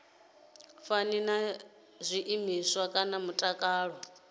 fani na zwiimiswa zwa mutakalo